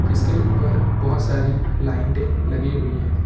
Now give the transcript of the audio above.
जिसके ऊपर बोहोत सारी लाइटें लगी हुई है।